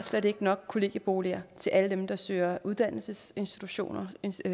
nok kollegieboliger til alle dem der søger uddannelsesinstitutionspladser